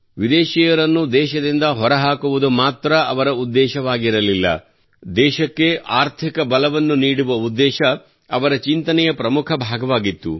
ವಿದೇಶಿಯರನ್ನು ದೇಶದಿಂದ ಹೊರಹಾಕುವುದು ಮಾತ್ರಾ ಅವರ ಉದ್ದೇಶವಾಗಿರಲಿಲ್ಲ ದೇಶಕ್ಕೆ ಆರ್ಥಿಕ ಬಲವನ್ನು ನೀಡುವ ಉದ್ದೇಶ ಅವರ ಚಿಂತನೆಯ ಪ್ರಮುಖ ಭಾಗವಾಗಿತ್ತು